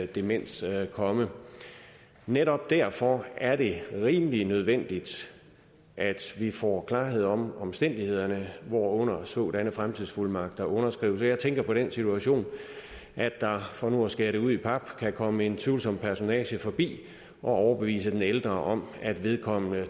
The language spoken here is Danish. demens komme netop derfor er det rimelig nødvendigt at vi får klarhed over omstændighederne hvorunder sådanne fremtidsfuldmagter underskrives jeg tænker på den situation at der for nu at skære det ud i pap kan komme en tvivlsom personage forbi og overbevise den ældre om at vedkommende